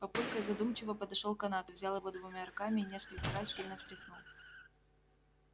папулька задумчиво подошёл к канату взял его двумя руками и несколько раз сильно встряхнул